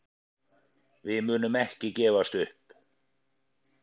Við munum ekki gefast upp.